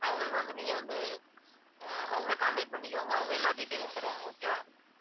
அவங்களுக்கு வந்து நீங்க வந்து அஹ் அவங்களை contact பண்ணிக்கோங்க அவங்க எல்லா detail லும் தருவாங்க. okay வா